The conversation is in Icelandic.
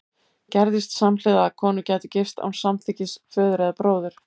Gerðist samhliða að konur gætu gifst án samþykkis föður eða bróður?